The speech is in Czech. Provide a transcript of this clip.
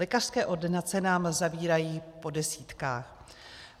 Lékařské ordinace nám zavírají po desítkách.